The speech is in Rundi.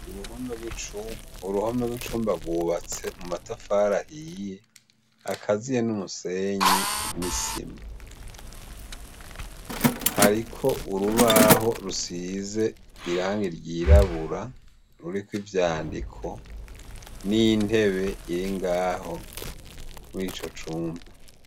Uruhome rw'icumba bwubatse mu matafara ahiye akaziye n'umusenyi n'isima. Hariko urubaho rusize irangi ryirabura ruri ko ivyandiko, n'intebe iri ngaho murico cumba.